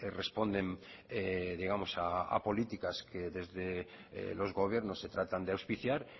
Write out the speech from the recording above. responden digamos a políticas que desde los gobiernos se tratan de auspiciar